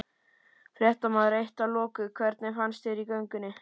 Fréttamaður: Eitt að loku, hvernig fannst þér í göngunni?